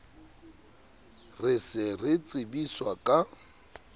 re se re tsebiswa ka